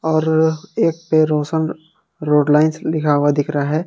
और एक पे रोशन रोडलाइंस लिखा हुआ दिख रहा है।